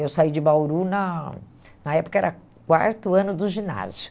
Eu saí de Bauru, na na época era quarto ano do ginásio.